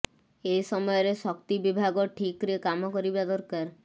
ଏ ସମୟରେ ଶକ୍ତି ବିଭାଗ ଠିକ୍ରେ କାମ କରିବା ଦରକାର